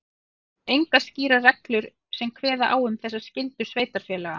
Hins vegar eru engar skýrar reglur sem kveða á um þessa skyldu sveitarfélaga.